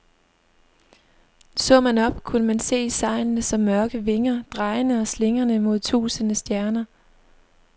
Så man op, kunne man se sejlene som mørke vinger, drejende og slingrende mod tusinde stjerner.